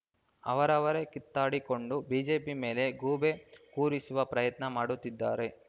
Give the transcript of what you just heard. ಅವರವರೇ ಕಿತ್ತಾಡಿಕೊಂಡು ಬಿಜೆಪಿ ಮೇಲೆ ಗೂಬೆ ಕೂರಿಸುವ ಪ್ರಯತ್ನ ಮಾಡುತ್ತಿದ್ದಾರೆ